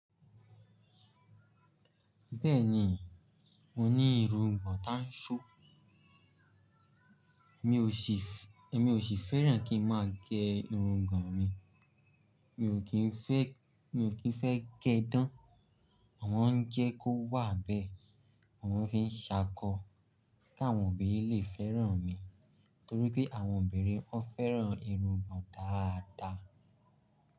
Bẹ́ẹ̀ni, mo ní irungbọ̀n tán ṣo Mi ò sì fẹ́ràn kí n má a gẹ irungbọ̀n mi. Mi ò kín fẹ́ gẹ ẹ́ dán. Mo mọ̀ ń jẹ́ kó wà bẹ́ẹ̀. Mo mò ń fi ń ṣákó kí àwọn obìnrin lè fẹ́ràn mi, nítorí pé àwọn obìnrin ó fẹ́ràn irungbọ̀n dáadáa.